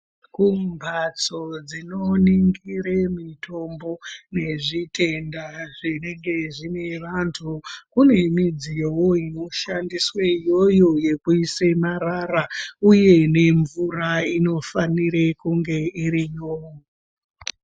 Kumbatso dzinoningire mitombo nezvitenda zvinenge zvine vantu kune midziyowo inoshandiswe iyoyo yekuise marara uye nemvura inofanire kunge iriyo.